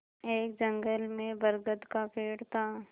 एक जंगल में बरगद का पेड़ था